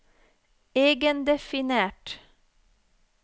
egendefinert